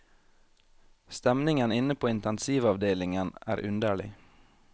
Stemningen inne på intensivavdelingen er underlig.